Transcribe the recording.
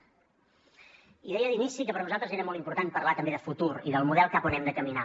i deia d’inici que per nosaltres era molt important parlar també de futur i del model cap a on hem de caminar